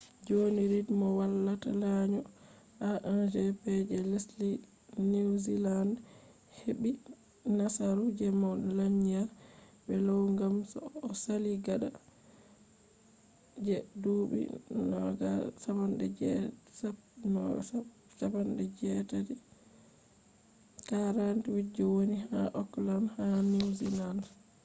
joni rid mo wallata lanyo a1gp je lesdi niwziland heɓɓi nasaru je mo lanyi be low ngam o sali gaɗa je duuɓi 48 je woni ha okland ha niwziland